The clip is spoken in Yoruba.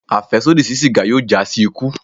Afẹsodi si sígá yóò já si ikú